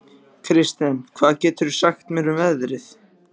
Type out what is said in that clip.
Kirsten, hvað geturðu sagt mér um veðrið?